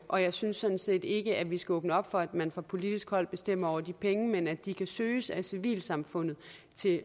og jeg synes sådan set ikke at vi skal åbne op for at man fra politisk hold bestemmer over de penge men at de kan søges af civilsamfundet